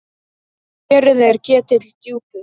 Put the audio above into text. Kerið er ketill djúpur.